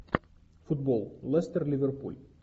футбол лестер ливерпуль